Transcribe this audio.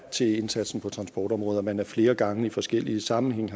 til indsatsen på transportområdet men har flere gange i forskellige sammenhænge